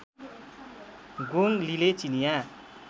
गोङ लीले चिनियाँ